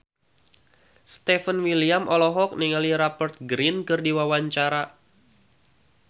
Stefan William olohok ningali Rupert Grin keur diwawancara